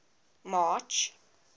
march